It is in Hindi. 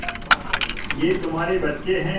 ये तुम्हारे बच्चे हैं